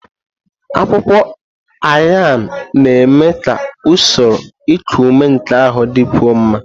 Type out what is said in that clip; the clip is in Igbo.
Akwụkwọ Ayan na-eme ka usoro iku ume nke ahụ dịkwuo mma.